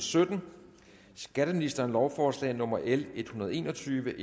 sytten skatteministeren lovforslag nummer l en hundrede og en og tyve